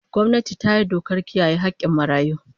Gwamnati ta yi dokar kiyaye hakkin marayu